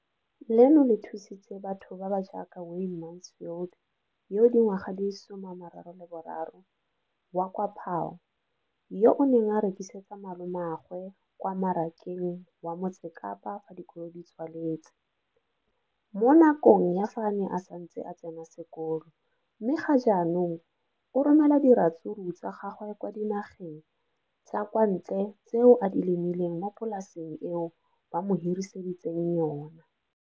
Leno le thusitse batho ba ba jaaka Wayne Mansfield, 33, wa kwa Paarl, yo a neng a rekisetsa malomagwe kwa Marakeng wa Motsekapa fa dikolo di tswaletse, mo nakong ya fa a ne a santse a tsena sekolo, mme ga jaanong o romela diratsuru tsa gagwe kwa dinageng tsa kwa ntle tseo a di lemileng mo polaseng eo ba mo hiriseditseng yona.